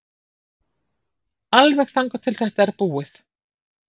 Alveg þangað til að þetta er búið.